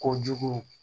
Kojugu